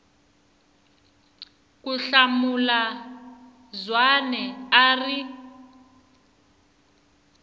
ku hlamula zwane a ri